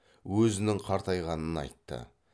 өзінің қартайғанын айтты